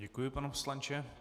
Děkuji, pane poslanče.